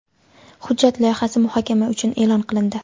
Hujjat loyihasi muhokama uchun e’lon qilindi.